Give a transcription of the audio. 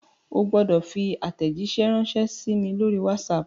O gbọ́dọ̀ fi àtẹ̀jíṣé ránsẹ́ sí mi lórí WhatsApp!